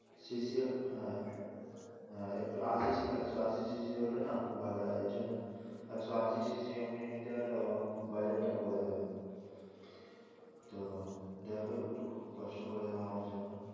CC হ্যাঁ হ্যাঁ একশ আশি CC হলে না খুব ভালো হয় এর জন্য একশ আশি CC নিতে হলে ওরম বাজেট টা পরে যাবে। তো দেখ একটু কষ্ট করে নেও আমার জন্য।